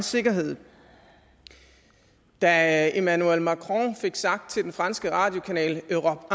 sikkerhed da emmanuel macron fik sagt til den franske radiokanal europe